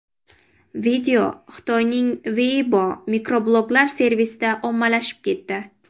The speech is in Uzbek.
Video Xitoyning Weibo mikrobloglar servisida ommalashib ketdi.